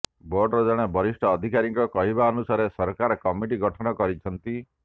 ବୋର୍ଡର ଜଣେ ବରିଷ୍ଠ ଅଧିକାରୀଙ୍କ କହିବା ଅନୁସାରେ ସରକାର କମିଟି ଗଠନ କରିଛନ୍ତି